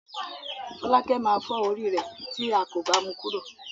Fọ́lákẹ́ máa fọ́ orí rẹ̀ tí a kò bá mu kúrò.